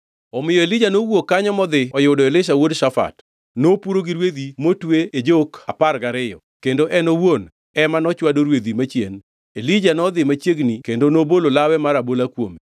Omiyo Elija nowuok kanyo modhi oyudo Elisha wuod shafat. Nopuro gi rwedhi motwe e jok apar gariyo kendo en owuon ema nochwado rwedhi machien. Elija nodhi machiegni kendo nobolo lawe mar abola kuome.